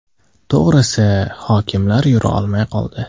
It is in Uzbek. To‘g‘risi, hokimlar yura olmay qoldi.